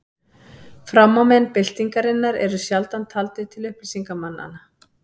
Framámenn byltingarinnar eru sjaldan taldir til upplýsingarmanna.